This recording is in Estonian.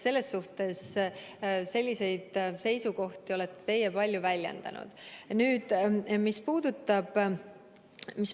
Selliseid seisukohti olete teie palju väljendanud.